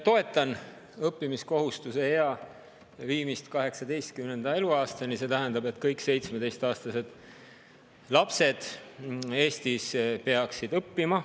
Toetan õppimiskohustuse ea viimist 18. eluaastani, see tähendab, et kõik 17‑aastased lapsed Eestis peaksid õppima.